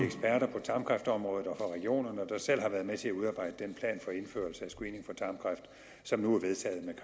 på tarmkræftområdet og fra regionerne der selv har været med til at udarbejde den plan for indførelse af screening for tarmkræft som nu er vedtaget med